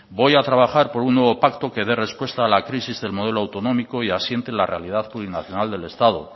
voy a trabajar por un nuevo pacto que dé respuesta a la crisis del modelo autonómico y asiente la realidad plurinacional del estado